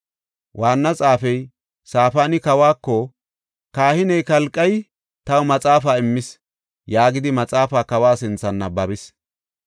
Waanna xaafey Safaani kawako, “Kahiney Kalqey taw maxaafaa immis” yaagidi maxaafaa kawa sinthan nabbabis.